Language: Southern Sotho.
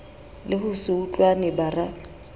le ho se utlwane bara